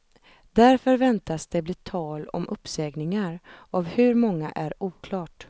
Därför väntas det bli tal om uppsägningar, av hur många är oklart.